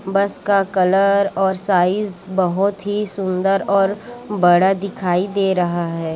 बस का कलर और साइज बहुत ही सुंदर और बड़ा दिखाई दे रहा है।